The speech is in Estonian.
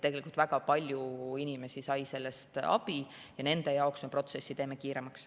Tegelikult väga palju inimesi sai sellest abi ja nende jaoks lähevad protsessid kiiremaks.